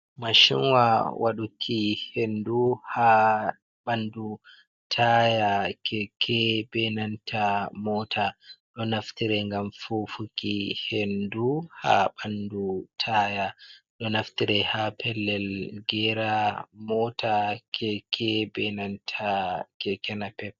Mashinwa waɗuki hendu ha ɓandu taya keke benanta mota ɗo naftire ngam fufuki hendu ha ɓandu taya ɗo naftire ha pellel gera mota, keke, benanta kekenapep.